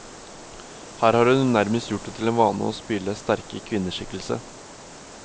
Her har hun nærmest gjort det til en vane å spille sterke kvinneskikkelse.